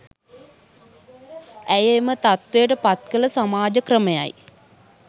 ඇය එම තත්ත්වයට පත් කළ සමාජ ක්‍රමයයි